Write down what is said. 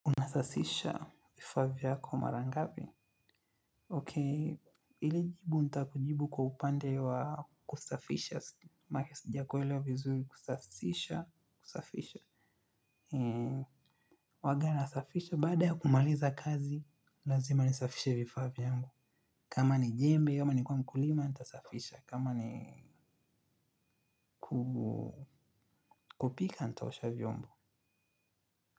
Nasasisha vifaa vyako mara ngapi. Okay, ilikujibu nitakujibu kwa upande wa kusafisha. Mahali sijakuelwa vizuri kusasisha, kusafisha. Eee, huwanga nasafisha baada ya kumaliza kazi, lazima nisafisha vifaa vyangu. Kama ni jembe, ama ni kwa mkulima, nitasafisha. Kama ni kupika, nitaosha vyombo.